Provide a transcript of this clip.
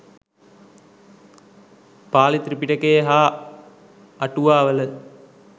පාලි ත්‍රිපිටකයේ හා අටුවාවල